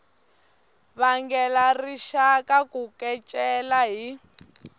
vangela rixaka ku kecela hi